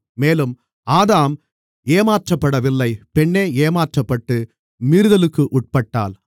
மேலும் ஆதாம் ஏமாற்றப்படவில்லை பெண்ணே ஏமாற்றப்பட்டு மீறுதலுக்கு உட்பட்டாள்